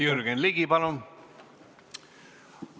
Jürgen Ligi, palun!